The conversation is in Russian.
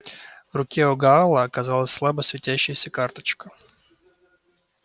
в руке у гаала оказалась слабо светящаяся карточка